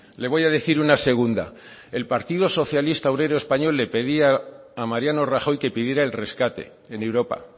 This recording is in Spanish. le voy a decir una segunda el partido socialista obrero español le pedía a mariano rajoy que pidiera el rescate en europa